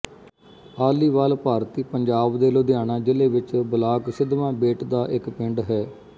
ਆਲੀਵਾਲ ਭਾਰਤੀ ਪੰਜਾਬ ਦੇ ਲੁਧਿਆਣਾ ਜ਼ਿਲ੍ਹੇ ਵਿੱਚ ਬਲਾਕ ਸਿਧਵਾਂ ਬੇਟ ਦਾ ਇੱਕ ਪਿੰਡ ਹੈ